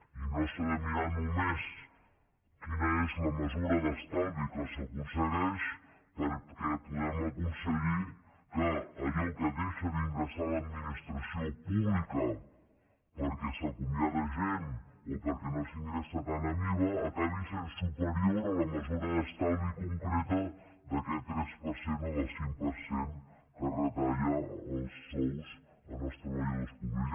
i no s’ha de mirar només quina és la mesura d’estalvi que s’aconsegueix perquè podem aconseguir que allò que deixa d’ingressar l’administració pública perquè s’acomiada gent o perquè no s’ingressa tant en iva acabi sent superior a la mesura d’estalvi concreta d’aquest tres per cent o cinc per cent que es retalla dels sous dels treballadors públics